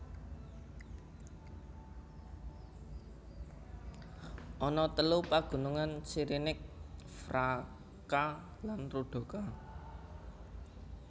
Ana telu pagunungan Sirinic Vraca lan Rudoka